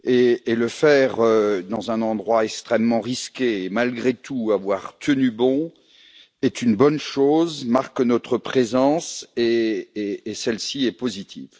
S'y rendre dans un endroit extrêmement risqué, et malgré tout avoir tenu bon, est une bonne chose, marque notre présence et celle ci est positive.